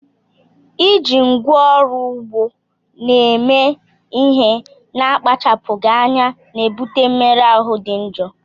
Iji ngwá ọrụ ugbo eme ihe n'akpachapụghị anya na-ebute mmerụ ahụ dị njọ